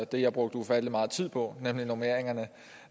det jeg brugte ufattelig meget tid på nemlig normeringerne